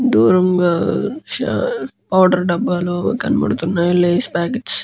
దూరంగా చా పౌడర్ డాబాలు కనబడుతున్నాయి. Lay's packets --